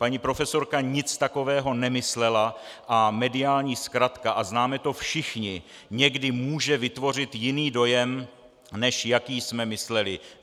Paní profesorka nic takového nemyslela a mediální zkratka, a známe to všichni, někdy může vytvořit jiný dojem, než jaký jsme mysleli.